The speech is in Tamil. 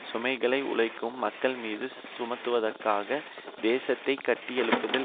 சுமைகளை உழைக்கும் மக்கள் மீது சுமத்துவதற்காக தேசத்தை கட்டியெழுப்புதல்